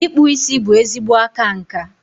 Ịkpụ isi bụ ezigbo aka nka.